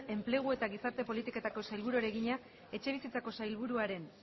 enplegu eta gizarte politiketako sailburuari egina etxebizitzako sailburuaren